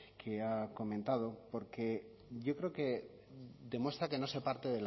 que ha comentado porque yo creo que demuestra que no se parte